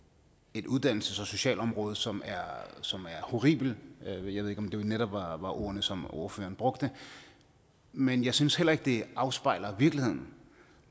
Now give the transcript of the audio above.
et uddannelses og socialområde som som var horribelt jeg ved ikke om det netop var ordene som ordføreren brugte men jeg synes heller ikke det afspejler virkeligheden